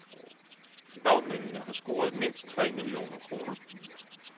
Bagmændene har scoret mindst tre millioner kroner.